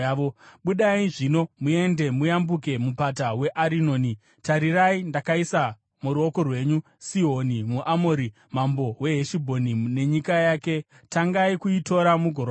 Budai zvino muende, muyambuke mupata weArinoni. Tarirai ndakaisa muruoko rwenyu Sihoni muAmori, mambo weHeshibhoni, nenyika yake. Tangai kuitora mugorwa naye.